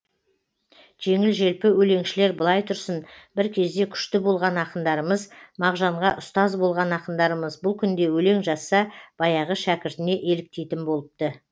жеңіл желпі өлеңшілер былай тұрсын бір кезде күшті болған ақындарымыз мағжанға ұстаз болған ақындарымыз бұл күнде өлең жазса баяғы шәкіртіне еліктейтін болыпты